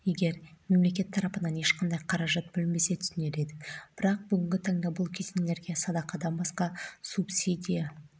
егер мемлекет тарапынан ешқандай қаражат бөлінбесе түсінер едік бірақ бүгінгі таңда бұл кесенелерге садақадан басқа субсидия